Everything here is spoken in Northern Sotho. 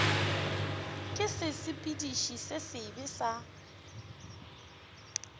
ke sesepediši se sebe sa